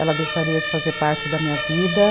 Ela deixaria de fazer parte da minha vida.